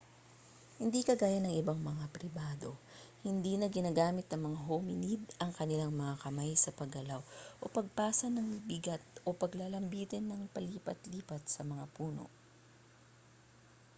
hindi kagaya ng ibang mga primado hindi na ginagamit ng mga hominid ang kanilang mga kamay sa paggalaw o pagpasan ng bigat o paglalambitin nang palipat-lipat sa mga puno